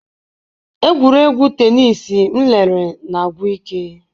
Egwuregwu tenis m lere na-agwụ ike.